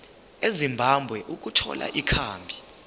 ezimbabwe ukuthola ikhambi